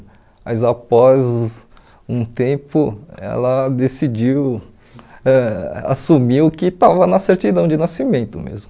Mas, após um tempo, ela decidiu, ãh assumiu que estava na certidão de nascimento mesmo.